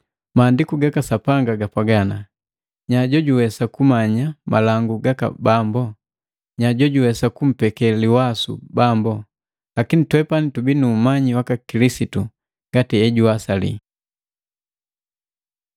Maandiku gaka Sapanga gapwaga, “Nya jojuwesa kumanya malangu gaka Bambo? Nya jojuwesa kumpeke liwasu Bambo?” Lakini twepani tubii nu umanyi waka Kilisitu ngati ejuwasali.